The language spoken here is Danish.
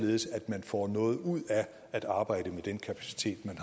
at arbejde